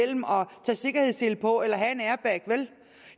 tage sikkerhedssele på eller have en airbag vel